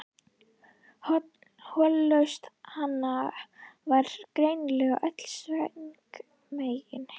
Hollusta hans var greinilega öll Sveins megin.